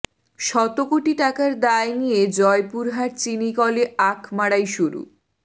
শত কোটি টাকার দায় নিয়ে জয়পুরহাট চিনিকলে আখ মাড়াই শুরু